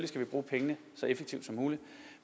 skal bruge pengene så effektivt som muligt